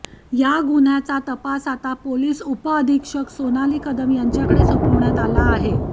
या गुन्ह्याचा तपास आता पोलीस उपअधीक्षक सोनाली कदम यांच्याकडे सोपवण्यात आला आहे